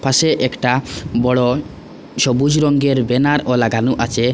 পাশে একটা বড় সবুজ রঙ্গের ব্যানারও লাগানো আছে।